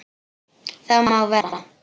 Það má vera.